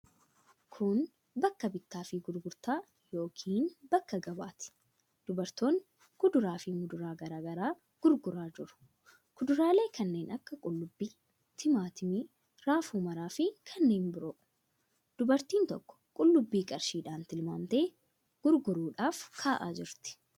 Kun bakka bittaa fi gurgurtaa yookiin bakka gabaati. Dubartoonni kuduraa fi muduraa garaa garaa gurguraa jiru. Kuduraalee kanneen akka qullubbii, timaatimii, raafuu maraa fi kanneen biroo. Dubartiin tokko qullubbii qarshiidhaan tilmaamtee gurgurtaadhaaf kaa'aa jirti.